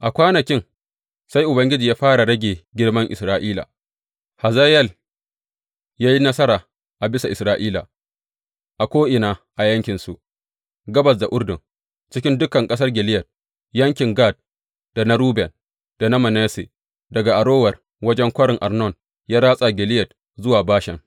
A kwanakin sai Ubangiji ya fara rage girman Isra’ila, Hazayel ya yi nasara a bisa Isra’ila a ko’ina a yankinsu gabas da Urdun, cikin dukan ƙasar Gileyad yankin Gad, da na Ruben, da na Manasse, daga Arower wajen Kwarin Arnon ya ratsa Gileyad zuwa Bashan.